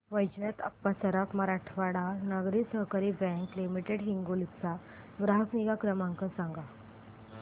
वैजनाथ अप्पा सराफ मराठवाडा नागरी सहकारी bank limited Hingoli चा ग्राहक निगा क्रमांक सांगा